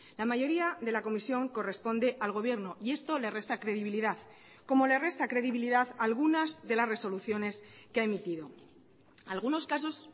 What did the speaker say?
la mayoría de la comisión corresponde al gobierno y esto le resta credibilidad como le resta credibilidad a algunas de las resoluciones que ha emitido algunos casos